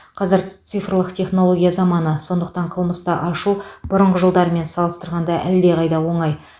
қазір цифрлық технология заманы сондықтан қылмысты ашу бұрынғы жылдармен салыстырғанда әлдеқайда оңай